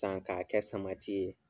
Kan k'a kɛ samati ye.